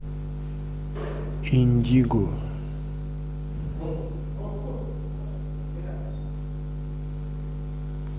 индиго